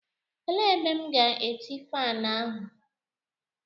Elee ebe M ga-eti faani ahụ?